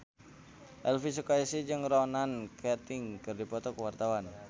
Elvi Sukaesih jeung Ronan Keating keur dipoto ku wartawan